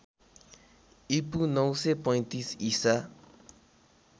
ईपू ९३५ ईसा